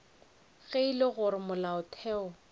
ge e le gore molaotheo